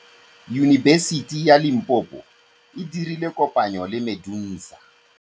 Yunibesiti ya Limpopo e dirile kopanyô le MEDUNSA.